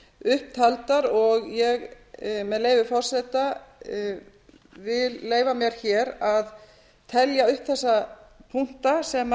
upptaldar og ég vil meðleyfi forseta leyfa mér hér að telja upp þessa punkta sem